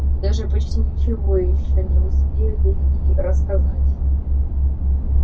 и даже почти ничего ещё не успели и рассказать